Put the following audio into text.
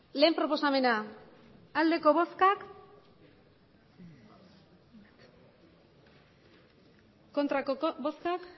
batgarrena proposamena emandako botoak